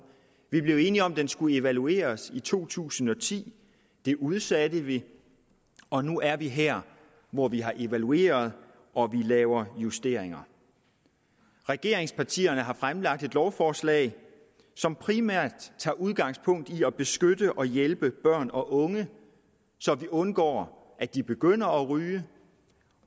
vi blev enige om at den skulle evalueres i to tusind og ti det udsatte vi og nu er vi her hvor vi har evalueret og vi laver justeringer regeringspartierne har fremlagt et lovforslag som primært tager udgangspunkt i at beskytte og hjælpe børn og unge så vi undgår at de begynder at ryge